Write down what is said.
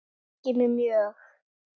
Það hryggir mig mjög.